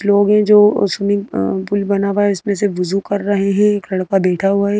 लोग हैं जो स्विमिंग अ पुल बना हुआ है इसमें से वजूं कर रहे हैं एक लड़का बैठा हुआ है।